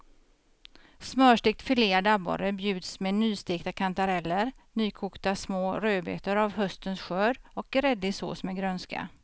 Smörstekt filead abborre bjuds med nystekta kantareller, nykokta små rödbetor av höstens skörd och gräddig sås med grönska.